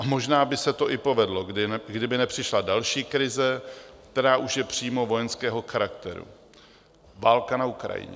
A možná by se to i povedlo, kdyby nepřišla další krize, která už je přímo vojenského charakteru, válka na Ukrajině.